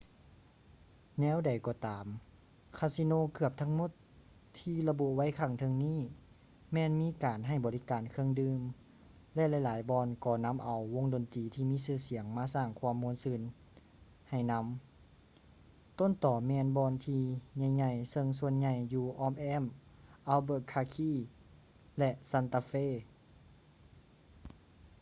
ແນວໃດກໍຕາມ ຄາສິໂນເກືອບທັງໝົດທີ່ລະບຸໄວ້ຂ້າງເທິງນີ້ແມ່ນມີການໃຫ້ບໍລິການເຄື່ອງດື່ມ ແລະ ຫຼາຍໆບ່ອນກໍນຳເອົາວົງດັນຕີທີ່ມີຊື່ສຽງມາສ້າງຄວາມາມ່ວນຊື່ນໃຫ້ນຳ ຕົ້ນຕໍແມ່ນບ່ອນທີ່ໃຫຍ່ໆເຊິ່ງສ່ວນໃຫຍ່ຢູ່ອ້ອມແອ້ມ albuquerque ແລະ santa fe